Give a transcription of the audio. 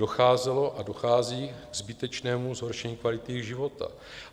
Docházelo a dochází ke zbytečnému zhoršení kvality jejich života.